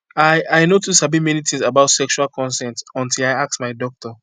i i no too sabi many things about sexual consent until i ask my doctor